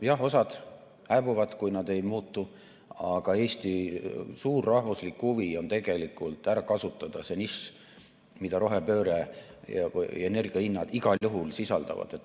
Jah, osa hääbub, kui nad ei muutu, aga Eesti suur rahvuslik huvi on tegelikult ära kasutada see nišš, mida rohepööre ja energiahinnad igal juhul sisaldavad.